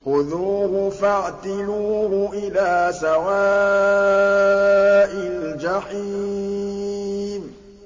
خُذُوهُ فَاعْتِلُوهُ إِلَىٰ سَوَاءِ الْجَحِيمِ